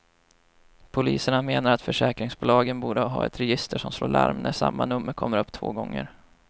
Polisen menar att försäkringsbolagen borde ha ett register som slår larm när samma nummer kommer upp två gånger.